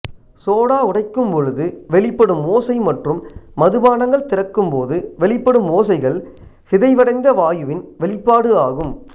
soda உடைக்கும்பொழுது வெளிப்படும் ஓசை மற்றும் மதுபானங்கள் திறக்கும்போது வெளிப்படும் ஓசைகள் சிதைவடைந்த வாயுவின் வெளிப்பாடு ஆகும்